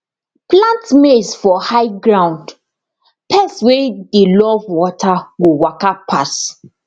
plant maize for high ground pests wey dey love water go waka pass